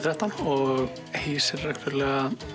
þrettán og hýsir reglulega